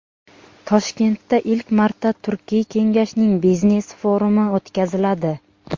Toshkentda ilk marta Turkiy kengashning biznes forumi o‘tkaziladi.